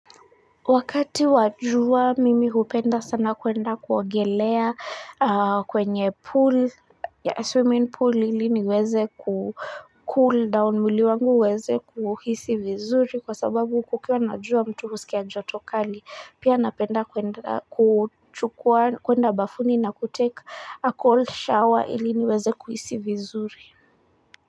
Wakati wajua mimi hupenda sana kwenda kuogelea kwenye pool ya swimming pool ili niweze kucool down mwili wangu uweze kuhisi vizuri kwa sababu kukiwa na jua mtu husikia njoto kali, pia napenda kuenda kuchukua kuenda bafuni na kutake a cold shower ili niweze kuhisi vizuri.